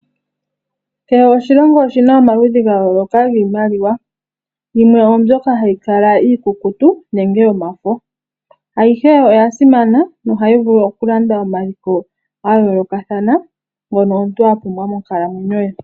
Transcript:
Kehe oshilongo oshi na omaludhi ga yooloka giimaliwa. Yimwe oyo mbyoka hayi kala iikukutu nenge yomafo. Ayihe oya simana nohayi vulu okulanda omaliko ga yoolokathana ngono omuntu a pumbwa monkalamwenyo ye.